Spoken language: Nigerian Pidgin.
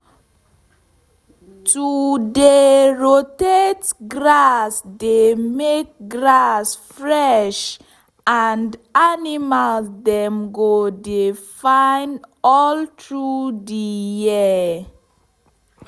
to dey rotate grass dey make grass fresh and animal dem go dey fine all through the year.